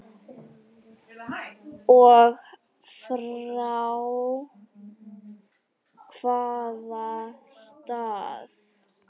Og frá hvaða stað?